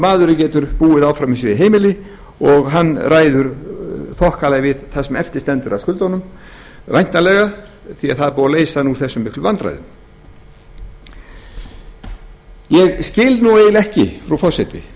maðurinn getur búið áfram í sínu heimili og hann ræður þokkalega við það sem eftir stendur af skuldunum væntanlega því það er búið að leysa hann úr þessum miklu vandræðum ég skil eiginlega ekki frú forseti